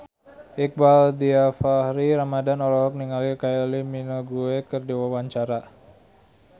Iqbaal Dhiafakhri Ramadhan olohok ningali Kylie Minogue keur diwawancara